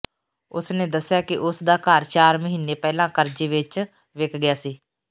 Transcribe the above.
ਉਸ ਨੇ ਦੱਸਿਆ ਕਿ ਉਸ ਦਾ ਘਰ ਚਾਰ ਮਹੀਨੇ ਪਹਿਲਾਂ ਕਰਜ਼ੇ ਵਿਚ ਵਿਕ ਗਿਆ ਸੀ